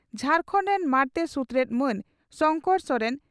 ᱡᱷᱟᱨᱠᱟᱱᱰ ᱨᱮᱱ ᱢᱟᱬᱛᱮ ᱥᱩᱛᱨᱮᱛ ᱢᱟᱱ ᱥᱚᱝᱠᱚᱨ ᱥᱚᱨᱮᱱ